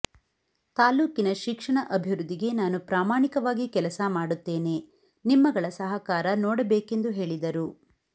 ತಾಲೂಕಿನ ಶಿಕ್ಷಣ ಅಭಿವೃದ್ದಿಗೆ ನಾನು ಪ್ರಾಮಾಣಿಕವಾಗಿ ಕೆಲಸ ಮಾಡುತ್ತೇನೆ ನಿಮ್ಮಗಳ ಸಹಕಾರ ನೋಡಬೇಕೆಂದು ಹೇಳಿದರು